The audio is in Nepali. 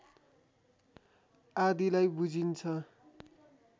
आदिलाई बुझिन्छ